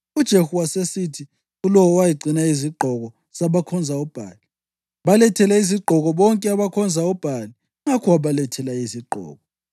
UJehu wasesithi kulowo owayegcina izigqoko zabakhonza uBhali, “Balethele izigqoko bonke abakhonza uBhali.” Ngakho wabalethela lezozigqoko.